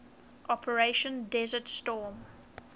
operation desert storm